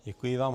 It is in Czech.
Děkuji vám.